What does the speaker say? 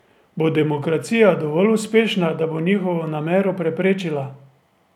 Bo demokracija dovolj uspešna, da bo njihovo namero preprečila?